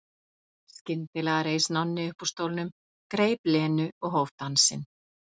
Skyndilega reis Nonni upp úr stólnum, greip Lenu og hóf dansinn.